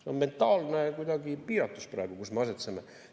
See on kuidagi mentaalne piiratus praegu, kus me asetseme.